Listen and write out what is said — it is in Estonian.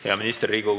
Hea minister!